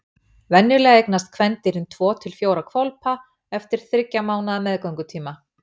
Venjulega eignast kvendýrin tvo til fjóra hvolpa eftir þriggja mánaða meðgöngutíma.